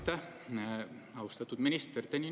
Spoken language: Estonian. Aitäh, austatud minister!